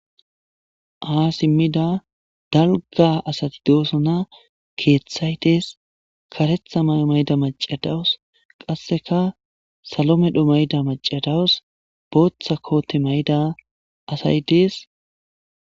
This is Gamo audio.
Ha simmida dalgga asati doosona. Keeththay dees, kareththa mayo mayida macca dawus, qasseka salo medho mayida macca dawus, booththa koote mayida asay dees.